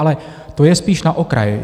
Ale to je spíš na okraj.